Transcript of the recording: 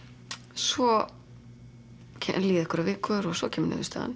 svo líða einhverjar vikur og svo kemur niðurstaðan